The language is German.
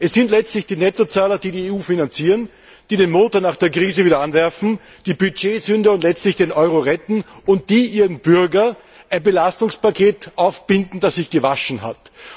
Es sind letztlich die Nettozahler, die die EU finanzieren, die den Motor nach der Krise wieder anwerfen, die Budgetsünder und letztlich den Euro retten und die ihren Bürgern ein Belastungspaket aufbinden, das sich gewaschen hat.